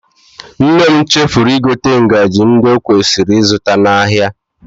Nne m chefuru igote ngaji ndị o kwesịrị ịzụta n'ahịa